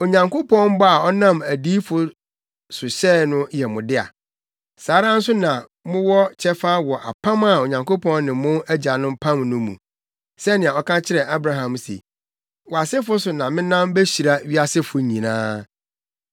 Onyankopɔn bɔ a ɔnam adiyifo so hyɛe no yɛ mo dea. Saa ara nso na mowɔ kyɛfa wɔ apam a Onyankopɔn ne mo agyanom pam no mu. Sɛnea ɔka kyerɛɛ Abraham se, ‘Wʼasefo so na menam behyira wiasefo nyinaa.’